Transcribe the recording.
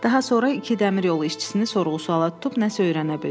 Daha sonra iki dəmir yolu işçisini sorğu-suala tutub nəsə öyrənə bildi.